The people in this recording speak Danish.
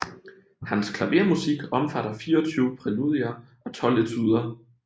Hans klavermusik omfatter fireogtyve præludier og tolv etuder